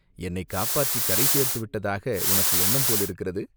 "என்னைக் காப்பாற்றிக் கரைசேர்த்து விட்டதாக உனக்கு எண்ணம் போலிருக்கிறது!